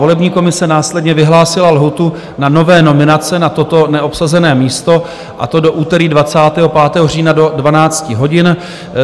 Volební komise následně vyhlásila lhůtu na nové nominace na toto neobsazené místo, a to do úterý 25. října do 12 hodin.